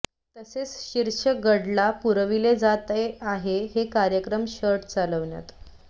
तसेच शीर्ष डगला पुरविले जाते आहे की कार्यक्रम शर्ट चालविण्यात